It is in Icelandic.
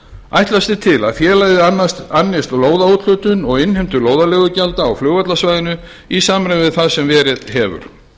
ætlast er til að félagið annist lóðaúthlutun og innheimtu lóðarleigugjalda á flugvallarsvæðinu í samræmi við það sem verið hefur